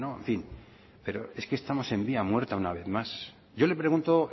en fin pero es que estamos en vía muerta una vez más yo le pregunto